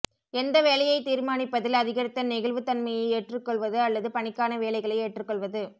எந்த வேலையைத் தீர்மானிப்பதில் அதிகரித்த நெகிழ்வுத்தன்மையை ஏற்றுக்கொள்வது அல்லது பணிக்கான வேலைகளை ஏற்றுக்கொள்வது